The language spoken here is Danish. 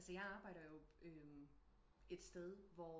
Altså jeg arbejder jo et sted hvor